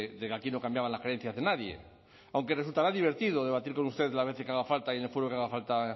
de que aquí no cambiaban las creencias de nadie aunque resultaba divertido debatir con usted las veces que haga falta y en el foro que haga falta